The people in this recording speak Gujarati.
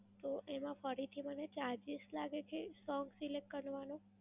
તો એમાં ફરીથી મને charges લાગે કે song select કરવાનો?